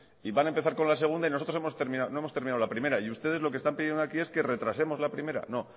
y van a empezar con la segunda y nosotros no hemos terminado la primera y ustedes lo que están pidiendo aquí es que retrasemos la primera no oiga